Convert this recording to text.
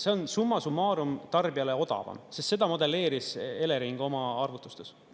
See on summa summarum tarbijale odavam, sest seda modelleeris Elering oma arvutustes.